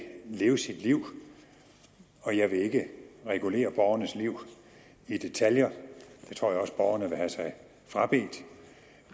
leve sit liv og jeg vil ikke regulere borgernes liv i detaljer det tror jeg også borgerne vil have sig frabedt